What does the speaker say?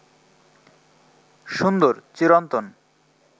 সুন্দর, চিরন্তন